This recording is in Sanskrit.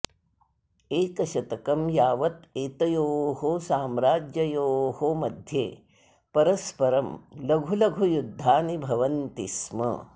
एकशतकं यावत् एतयोः साम्राज्ययोः मध्ये परस्परं लघु लघु युद्धानि भवन्ति स्म